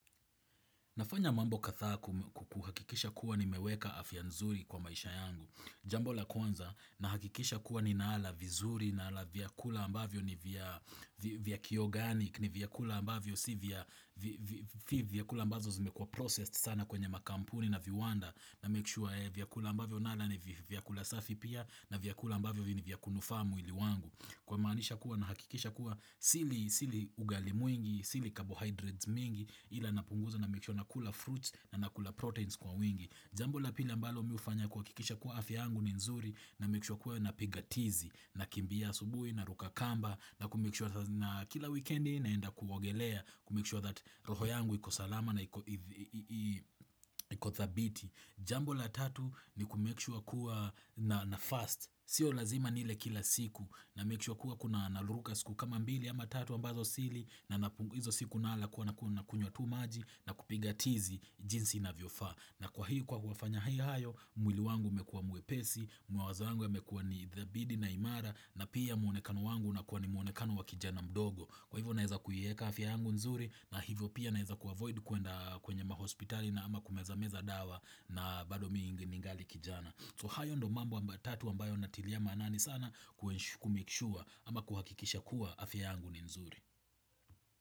Nafanya mambo kadhaa kuhakikisha kuwa nimeweka afya nzuri kwa maisha yangu. Jambo la kwanza nahakikisha kuwa ninaala vizuri nala vyakula ambavyo ni vya kiyoga yani ni vyakula ambavyo si vyakula ambavyo zimekua processed sana kwenye makampuni na viwanda. Na make sure vyakula ambavyo nala ni vyakula safi pia na vyakula ambavyo ni vya kunufaa mwili wangu. Kumanisha kuwa nahakikisha kuwa sili ugali mwingi, sili carbohydrates mingi ila napunguza na make sure na kula fruits na nakula proteins kwa wingi. Jambo la pili ambalo mi hufanya kuhakikisha kuwa afya yangu ni nzuri na make sure kuwa napiga tizi nakimbia asubuhi naruka kamba na kumake sure kila wikendi naenda kuogelea kumake sure that roho yangu iko salama na iko thabiti. Jambo la tatu ni kumake sure kuwa nafast, Sio lazima nile kila siku na make sure kuwa naliruka siku kama mbili ama tatu ambazo sili na hizo siku nala nakunywa tu maji na kupiga tizi jinsi inavyofaa. Na kwa kufanya hayo mwili wangu umekua mwepesi Mwawazo wangu yamekua ni thabiti na imara na pia muonekano wangu unakuwa ni muonekano wa kijana mdogo Kwa hivyo naezakuieka afya yangu nzuri na hivyo pia naeza kuavoid kwenda kwenye mahospitali ama kumeza meza dawa na bado mi ningali kijana So hayo ndo mambo matatu ambayo natilia manani sana kumake sure ama kuhakikisha kuwa afya yangu ni nzuri.